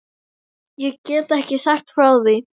Ég get ekki sagt frá því.